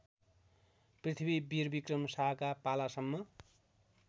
पृथ्वीवीरविक्रम शाहका पालासम्म